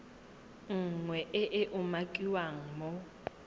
nngwe e e umakiwang mo